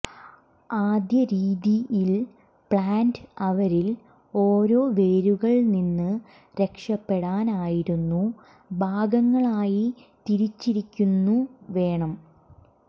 ആദ്യ രീതി ൽ പ്ലാന്റ് അവരിൽ ഓരോ വേരുകൾ നിന്ന് രക്ഷപെടാൻ ആയിരുന്നു ഭാഗങ്ങളായി തിരിച്ചിരിക്കുന്നു വേണം